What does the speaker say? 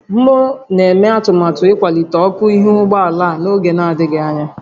M na-eme atụmatụ ịkwalite ọkụ ihu ụgbọ ala a n'oge adịghị anya